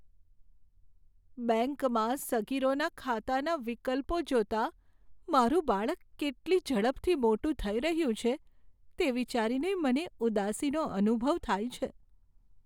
બેંકમાં સગીરોના ખાતાના વિકલ્પો જોતા મારું બાળક કેટલી ઝડપથી મોટું થઈ રહ્યું છે, તે વિચારીને મને ઉદાસીનો અનુભવ થાય છે.